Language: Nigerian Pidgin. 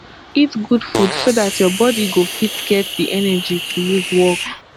eat good food so dat your body go fit get di energy to use work